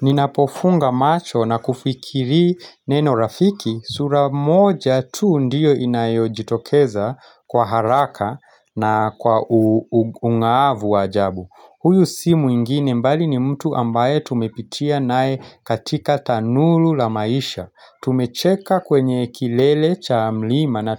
Ninapofunga macho na kufikiri neno rafiki sura moja tu ndiyo inayo jitokeza kwa haraka na kwa ungaavu wa ajabu. Huyu si mwingine mbali ni mtu ambaye tumepitia nae katika tanulu la maisha. Tumecheka kwenye kilele cha mlima na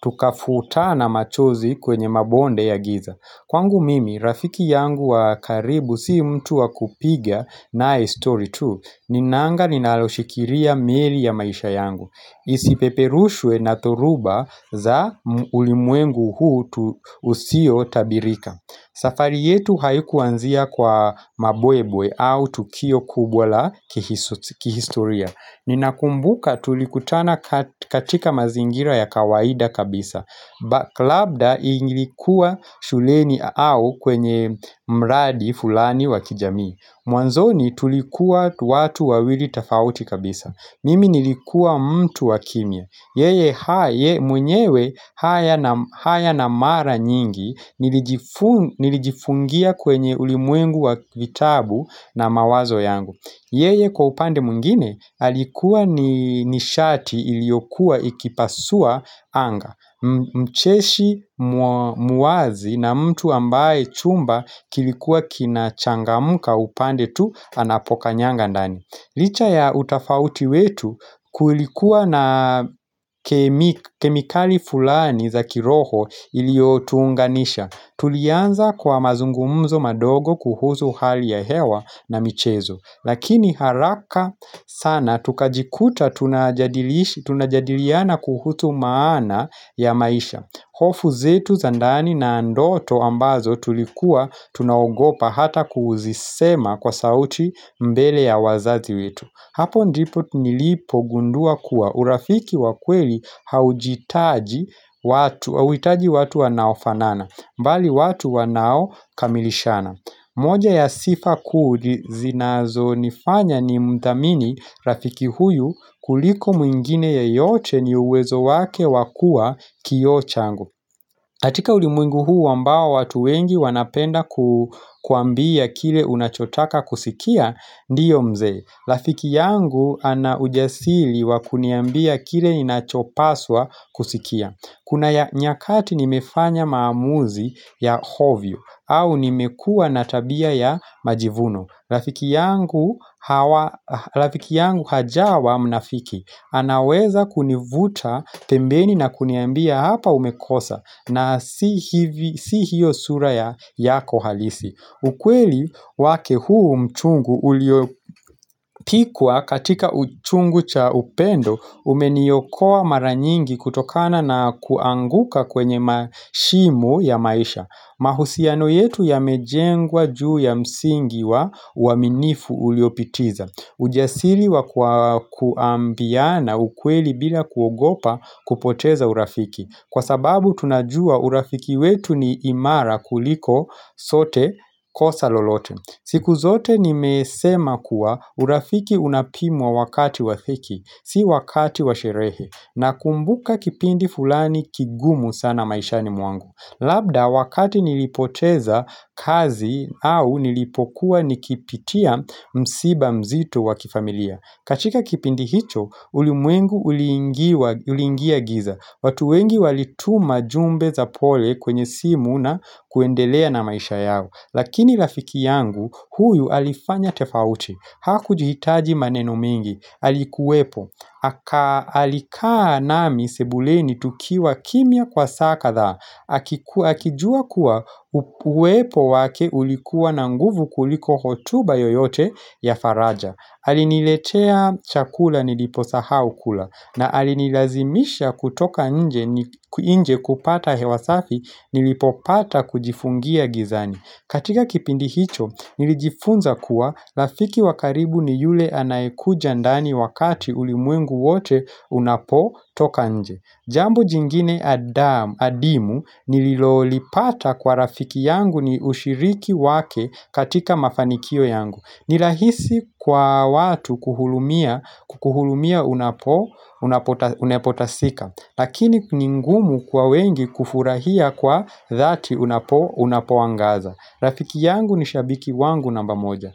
tukafuta na machozi kwenye mabonde ya giza. Kwangu mimi, rafiki yangu wa karibu si mtu wakupiga nae story tu, ninanga ninaloshikiria meli ya maisha yangu. Isipeperushwe na dhoruba za ulimwengu huu usio tabirika. Safari yetu haikuanzia kwa mabwebwe au tukio kubwa la kihistoria. Ninakumbuka tulikutana katika mazingira ya kawaida kabisa labda ingilikuwa shuleni au kwenye mradi fulani wa kijami Mwanzoni tulikuwa watu wawili tafauti kabisa Mimi nilikuwa mtu wa kimya Yeye mwenyewe haya na mara nyingi Nilijifungia kwenye ulimwengu wa kitabu na mawazo yangu Yeye kwa upande mwingine alikuwa ni nishati iliokuwa ikipasua anga Mcheshi muwazi na mtu ambaye chumba kilikuwa kina changamuka upande tu anapoka nyanga ndani Licha ya utafauti wetu kulikuwa na kemikali fulani za kiroho iliotuunganisha Tulianza kwa mazungumzo madogo kuhusu hali ya hewa na michezo Lakini haraka sana tukajikuta tunajadiliana kuhusu maana ya maisha hofu zetu za ndani na ndoto ambazo tulikuwa tunaogopa hata kuzisema kwa sauti mbele ya wazazi wetu Hapo ndipo nilipo gundua kuwa urafiki wa kweli haujitaji watu wanaofanana mbali watu wa nao kamilishana moja ya sifa kuu zinazo nifanya ni mdhamini rafiki huyu kuliko mwingine ya yote ni uwezo wake wa kua kioo changu Natika ulimwingu huu wambawa watu wengi wanapenda kuambia kile unachotaka kusikia ndiyo mzee Rafiki yangu ana ujasili wa kuniambia kile inachopaswa kusikia Kuna nyakati nimefanya maamuzi ya ovyo au nimekua natabia ya majivuno Rafiki yangu hajawa mnafiki anaweza kunivuta tembeni na kuniambia hapa umekosa na si hiyo sura yako halisi ukweli wake huu mchungu uliopikwa katika uchungu cha upendo Umeniokoa mara nyingi kutokana na kuanguka kwenye mashimu ya maisha mahusiano yetu yamejengwa juu ya msingi wa uaminifu uliopitiza ujasiri wa kuambiana ukweli bila kuogopa kupoteza urafiki Kwa sababu tunajua urafiki wetu ni imara kuliko sote kosa lolote siku zote nimesema kuwa urafiki unapimwa wakati wa dhiki Si wakati wa sherehe nakumbuka kipindi fulani kigumu sana maishani mwangu Labda wakati nilipoteza kazi au nilipokuwa nikipitia msiba mzito wa kifamilia katika kipindi hicho ulimwengu uliingia uliingia giza watu wengi walituma jumbe za pole kwenye si muna kuendelea na maisha yao Lakini rafiki yangu huyu alifanya tofauti Hakujuhitaji maneno mingi. Alikuwepo. Alikaa nami sebuleni tukiwa kimya kwa saa kadhaa. Akijua kuwa uwepo wake ulikuwa na nguvu kuliko hotuba yoyote ya faraja. Aliniletea chakula niliposaha ukula. Na alinilazimisha kutoka nje kupata hew asafi nilipopata kujifungia gizani. Katika kipindi hicho, nilijifunza kuwa rafiki wa karibu ni yule anaekuja ndani wakati ulimuengu wote unapo toka nje. Jambo jingine adimu nililolipata kwa rafiki yangu ni ushiriki wake katika mafanikio yangu. Ni rahisi kwa watu kuhurumia unapo unapotasika, lakini ni ngumu kwa wengi kufurahia kwa dhati unapo unapo angaza. Rafiki yangu ni shabiki wangu namba moja.